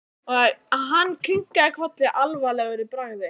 Hann kinkaði kolli alvarlegur í bragði.